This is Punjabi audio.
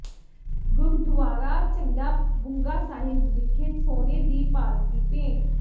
ਗੁਰਦੁਆਰਾ ਝੰਡਾ ਬੁੰਗਾ ਸਾਹਿਬ ਵਿਖੇ ਸੋਨੇ ਦੀ ਪਾਲਕੀ ਭੇਂਟ